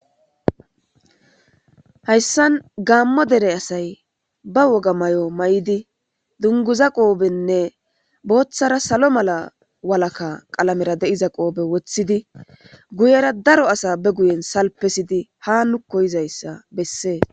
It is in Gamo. Hayisan gamo dere asay ba woga mayo mayidi dunguza qophene bothara salo mala qalamera diza guyera daro asa ba guyene salipisidi ha nuko yizayisa bees